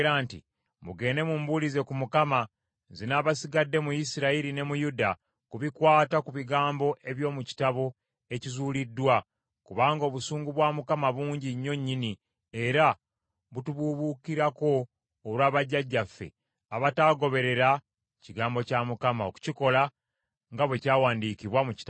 “Mugende mumbulize ku Mukama , nze n’abasigadde mu Isirayiri ne mu Yuda, ku bikwata ku bigambo eby’omu kitabo ekizuuliddwa, kubanga obusungu bwa Mukama bungi nnyo nnyini era butubuubuukirako olwa bajjajjaffe abataagoberera kigambo kya Mukama okukikola nga bwe kyawandiikibwa mu kitabo kino.”